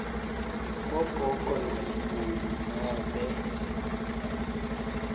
bogogo namkhulu nobe